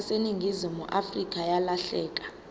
yaseningizimu afrika yalahleka